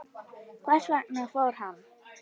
Hvers vegna fór hann?